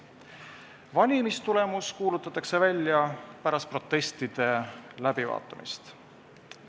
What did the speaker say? Valimistulemused kuulutatakse välja pärast protestide läbivaatamist.